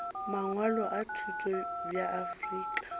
mangwalo a thuto bja afrika